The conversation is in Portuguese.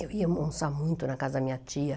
Eu ia almoçar muito na casa da minha tia.